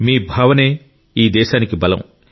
మీ ఈ భావనే దేశానికి బలం